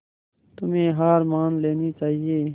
तुम्हें हार मान लेनी चाहियें